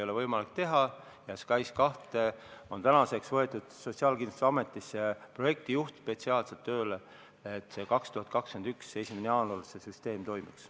SKAIS2 jaoks on tänaseks võetud Sotsiaalkindlustusametisse tööle spetsiaalselt projektijuht, et 2021. aasta 1. jaanuaril see süsteem toimiks.